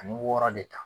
Ani wɔɔrɔ de ta